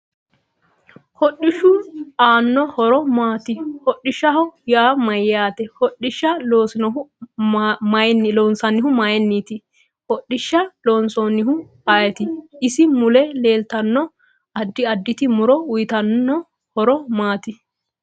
Hodhishu aano horo maati hodhishaho yaa mayaate hodhisha loonsanihu mayiiniti hodhisha loosinohu ayiiti isi mule leeltanno addi additi muro uyiitanno horo maati